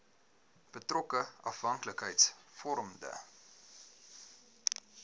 betrokke afhanklikheids vormende